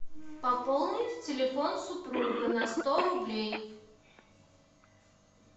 пополнить телефон супруга на сто рублей